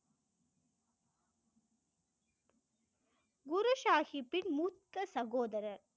குரு சாகிப் பின் மூத்த சகோதரர்